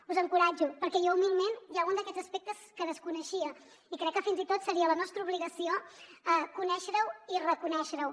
us encoratjo perquè jo humilment hi ha algun d’aquests aspectes que desconeixia i crec que fins i tot seria la nostra obligació conèixer ho i reconèixer ho